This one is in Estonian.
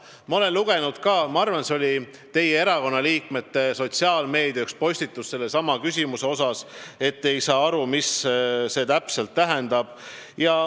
Ma olen lugenud ka – ma arvan, et see oli üks postitus teie erakonna liikmete sotsiaalmeediakanalis –, et te ei saa aru, mida see täpselt tähendab.